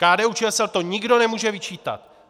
KDU-ČSL to nikdo nemůže vyčítat.